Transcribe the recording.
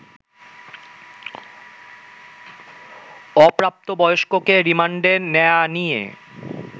অপ্রাপ্তবয়স্ককে রিমান্ডে নেয়া নিয়ে